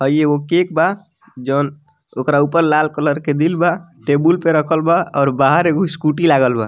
हई एगो केक बा जवन ओकरा ऊपर लाल कलर के दिल बा टेबुल पे रखल बा और बाहर एगो स्कूटी लागल बा।